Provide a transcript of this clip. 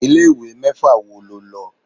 Ilé ìwé mẹ́fà wo lo lọ?